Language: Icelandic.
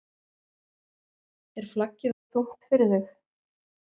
Er flaggið of þungt fyrir þig???